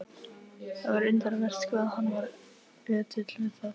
Það var undravert hvað hann var ötull við það.